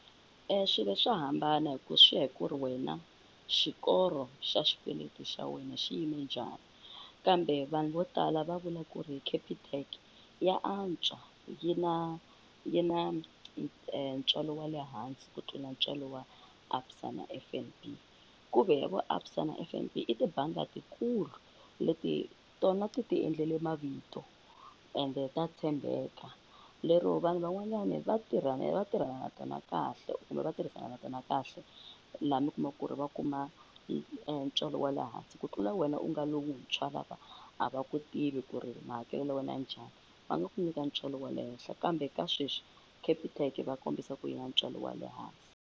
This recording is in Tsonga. swilo swa hambana hi ku swi ya hi ku ri wena xikoro xa xikweleti xa wena xi yime njhani kambe vanhu vo tala va vula ku ri Capitec ya antswa yi na yi na ntswalo wa le hansi ku tlula ntswalo wa ABSA na F_N_B, ku ve vo A_B_ S_A na F_N_B i tibangi letikulu leti tona ti ti endlele mavito ende ta tshembeka lero vanhu van'wanyani va tirha ni va tirhana na tona kahle kumbe va tirhisana na tona kahle u laha mi kumaku ku ri va kuma ntswalo wa le hansi ku tlula wena u nga lowuntshwa lava a va ku tivi ku ri mahakelelo ya wena ya njhani va nga ku nyika ntswalo wa le henhla kambe ka sweswi capitec va kombisa ku yi na ntswalo wa le hansi.